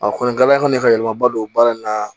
A kɔni gala fɛnɛ ka yɛlɛmaba don baara in na